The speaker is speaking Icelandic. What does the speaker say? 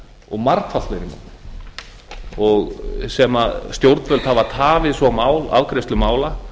og margfalt fleiri mál sem stjórnvöld hafa tafið svo afgreiðslu mála